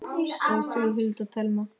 Ég, þú, Hulda og Telma.